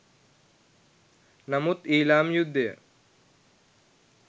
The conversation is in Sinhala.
නමුත් ඊළාම් යුද්ධය